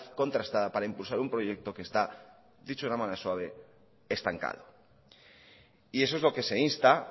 contrastada para impulsar un proyecto que está dicho de una manera suave estancado y eso es lo que se insta